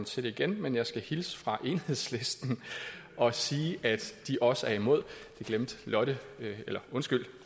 til igen men jeg skal hilse fra enhedslisten og sige at de også er imod det